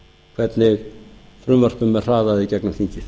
hvernig frumvörpum er hraðað í gegnum þingið